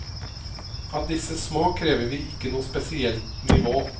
Av disse små krever vi ikke noe spesielt nivå.